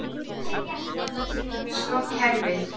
Sko kerfið.